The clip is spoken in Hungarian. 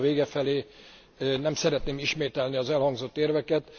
Ugye a vita vége felé nem szeretném ismételni az elhangzott érveket.